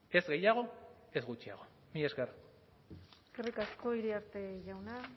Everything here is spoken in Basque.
ez gehiago ez gutxiago mila esker eskerrik asko iriarte jauna